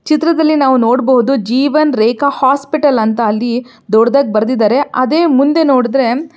ಚಿತ್ರದಲ್ಲಿ ನಾವು ನೋಡಬಹುದು ಜೀವನ್ ರೇಖಾ ಹಾಸ್ಪಿಟಲ್ ಅಂತ ಅಲ್ಲಿ ದೊಡ್ಡಧಾಗಿ ಬರೀದಿದಾರೆ ಅದೇ ಮುಂದೆ ನೋಡಿದರೆ --